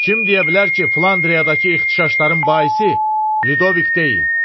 Kim deyə bilər ki, Flandriyadakı ixtişaşların baisi Lidovik deyil?